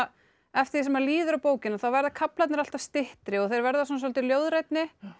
eftir því sem líður á bókina þá verða kaflarnir alltaf styttri og þeir verða svolítið ljóðrænni